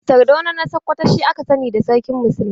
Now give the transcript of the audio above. Sardauna na sakwato shi aka sani da sarkin muslimai.